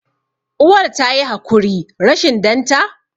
uwar ta yi hakuri rashin danta?